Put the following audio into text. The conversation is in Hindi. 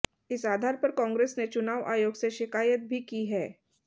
इस आधार पर कांग्रेस ने चुनाव आयोग से शिकायत भी की है